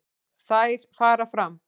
Þær fara fram